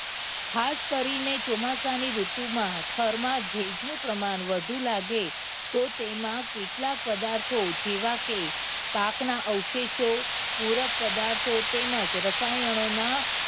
ખાસ કરીને ચોમાસાની ઋતુમાં થરમા ભેજનું પ્રમાણ વધુ લાગે તો તેમાં કેટલાય પદાર્થો જેવા કે પાકના અવશેષો ઉગ્ર પદાર્થો તેમજ રસાયણોના